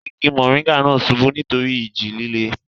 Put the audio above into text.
igi mọ̀nríngà náà subú nítorí ìjì líle